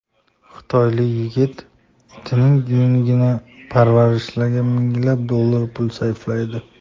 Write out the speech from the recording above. Xitoylik yigit itining yungini parvarishlashga minglab dollar pul sarflaydi .